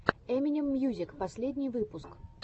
эминем мьюзик последний выпуск